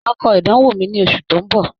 Màá kọ ìdánwò mi ní oṣù tó ń bọ̀